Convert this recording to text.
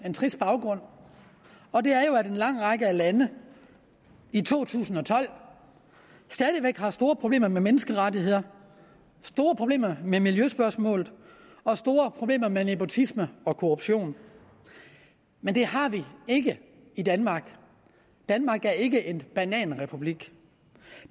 trist baggrund og det er jo at en lang række af lande i to tusind og tolv stadig væk har store problemer med menneskerettigheder store problemer med miljøspørgsmål og store problemer med nepotisme og korruption men det har vi ikke i danmark danmark er ikke en bananrepublik